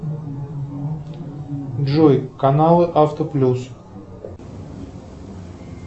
джой каналы авто плюс